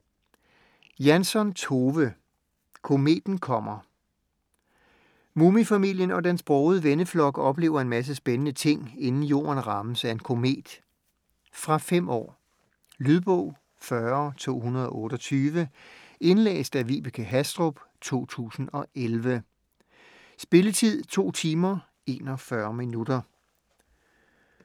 Jansson, Tove: Kometen kommer Mumifamilien og dens brogede venneflok oplever en masse spændende ting, inden jorden rammes af en komet. Fra 5 år. Lydbog 40228 Indlæst af Vibeke Hastrup, 2011. Spilletid: 2 timer, 41 minutter.